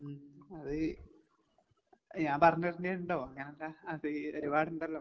ഉം അത് ഞാൻ പറഞ്ഞ് തരേണ്ടിയുണ്ടോ അങ്ങനല്ല അത് ഒരുപാടുണ്ടല്ലോ?